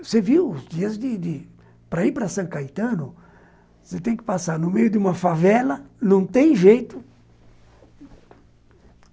Você viu os dias de de... Para ir para São Caetano, você tem que passar no meio de uma favela, não tem jeito.